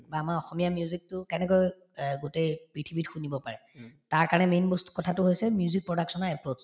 বা আমাৰ অসমীয়া music তো কেনেকৈ অ গোটেই পৃথিৱীত শুনিব পাৰে তাৰকাৰণে main বস্তু কথাটো হৈছে music production ৰ approach